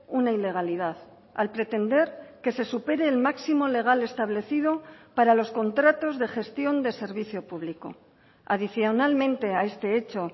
una ilegalidad al pretender que se supere el máximo legal establecido para los contratos de gestión de servicio público adicionalmente a este hecho